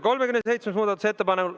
37. muudatusettepanek.